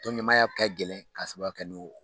Tɔnɲaaya kɛ gɛlɛn ka sababuya kɛ n'o